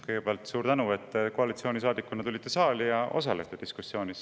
Kõigepealt suur tänu, et te koalitsioonisaadikuna tulite saali ja osalete diskussioonis.